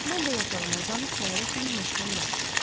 Mən də yatağıma uzanıb səhərə kimi möhkəm yatdım.